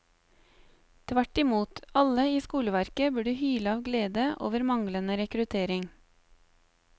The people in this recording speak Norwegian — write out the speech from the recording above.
Tvert imot, alle i skoleverket burde hyle av glede over manglende rekruttering.